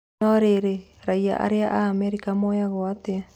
No rĩrĩ raiya airũ a Amerika moyaguo atĩa ?